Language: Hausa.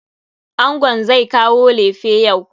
Angon zai kawo lefe yau.